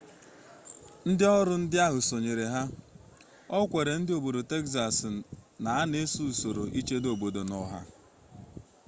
ndị ọrụ ndị ahụ sonyere ya o kwere ndị obodo texas na a na-esoro usoro ichedo obodo na ọha